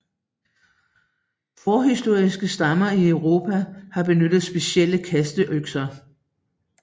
Forhistoriske stammer i Europa har benyttet specielle kasteøkser